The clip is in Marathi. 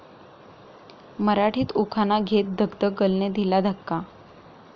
मराठीत उखाणा घेत 'धकधक गर्ल'ने दिला धक्का!